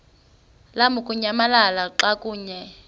lamukunyamalala xa kanye